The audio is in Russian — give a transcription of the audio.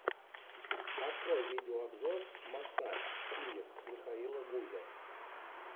открой видеообзор массаж киев михаила гузя